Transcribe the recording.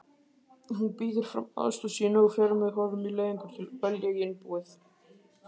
Hún býður fram aðstoð sína og fer með honum í leiðangur að velja í innbúið